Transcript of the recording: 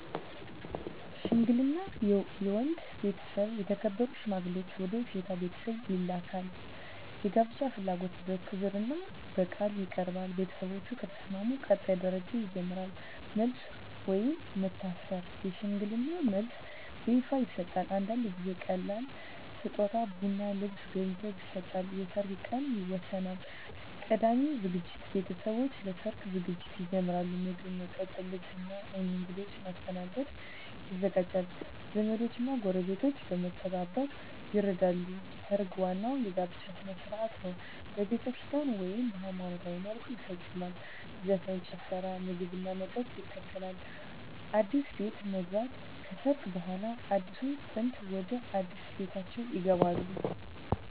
ሽምግልና የወንድ ቤተሰብ የተከበሩ ሽማግሌዎችን ወደ የሴት ቤተሰብ ይልካል። የጋብቻ ፍላጎት በክብርና በቃል ይቀርባል። ቤተሰቦች ከተስማሙ ቀጣይ ደረጃ ይጀምራል። መልስ (ወይም መታሰር) የሽምግልና መልስ በይፋ ይሰጣል። አንዳንድ ጊዜ ቀላል ስጦታ (ቡና፣ ልብስ፣ ገንዘብ) ይሰጣል። የሰርግ ቀን ይወሰናል። ቀዳሚ ዝግጅት ቤተሰቦች ለሰርግ ዝግጅት ይጀምራሉ። ምግብ፣ መጠጥ፣ ልብስ እና እንግዶች ማስተናገድ ይዘጋጃል። ዘመዶች እና ጎረቤቶች በመተባበር ይረዳሉ። ሰርግ ዋናው የጋብቻ ሥነ ሥርዓት ነው። በቤተክርስቲያን (ወይም በሃይማኖታዊ መልኩ) ይፈጸማል። ዘፈን፣ ጭፈራ፣ ምግብና መጠጥ ይከተላል። አዲስ ቤት መግባት (ከሰርግ በኋላ) አዲሱ ጥንድ ወደ አዲስ ቤታቸው ይገባሉ።